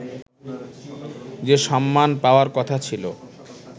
যে সম্মান পাওয়ার কথা ছিল